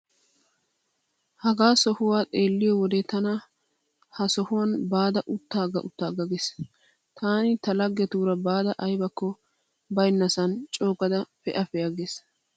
Hagaa sohuwaa xeelliyo wode tana ha sohuwan baada utta utta geesi. Tani ta laggetuura baada aybakko baynnasan coogada pee'a pee'a gees.